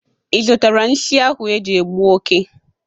Ị zụtara nsi ahụ eji egbụ oke?